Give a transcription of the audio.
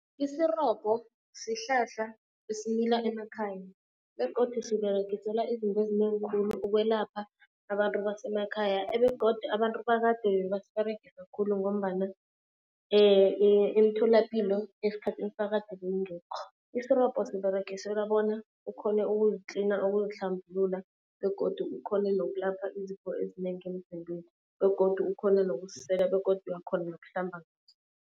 Isirobho sihlahla esimila emakhaya begodu siberegiselwa izinto ezinengi khulu ukwelapha abantu basemakhaya. Begodu abantu bakade bebasiberegisa khulu ngombana emtholapilo esikhathini sakade bewungeko. Isirobho siberegiselwa bona ukhone ukuzitlina, ukuzihlambulula begodu ukhone nokulapha izifo ezinengi emzimbeni. Begodu ukhone nokusisela begodu uyakhona nokuhlamba ngaso.